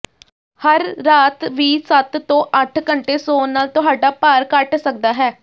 ਹਰ ਰਾਤ ਵੀ ਸੱਤ ਤੋਂ ਅੱਠ ਘੰਟੇ ਸੌਣ ਨਾਲ ਤੁਹਾਡਾ ਭਾਰ ਘੱਟ ਸਕਦਾ ਹੈ